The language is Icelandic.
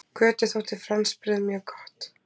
Kötu þótti franskbrauð mjög gott.